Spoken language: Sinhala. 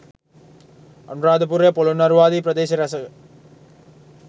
අනුරාධපුරය පොළොන්නරුව ආදී ප්‍රදේශ රැසක